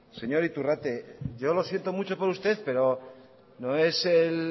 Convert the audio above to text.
señor iturrate yo lo siento mucho por usted pero no es el